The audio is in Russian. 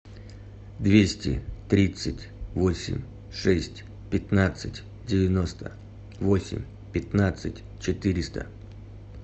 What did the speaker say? двести тридцать восемь шесть пятнадцать девяносто восемь пятнадцать четыреста